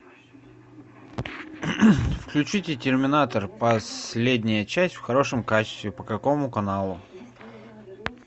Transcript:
включите терминатор последняя часть в хорошем качестве по какому каналу